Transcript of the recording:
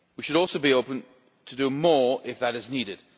so. We should also be open to do more if that is needed.